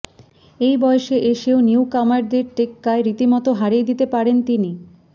এই বয়সে এসেও নিউকামারদের টেক্কায় রীতিমতো হারিয়ে দিতে পারেন তিনি